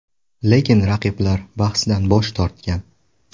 Lekin raqiblar bahsdan bosh tortgan.